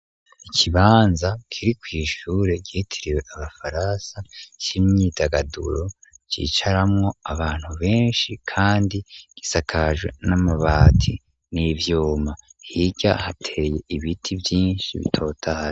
Ikibanza kiri ku ishure gihitiriwe abafaransa c'imyidagaduro cicaramwo abantu benshi kandi gisakaje n'amabati n'ibyuma hirya hateye ibiti vyinshi bitotahaye.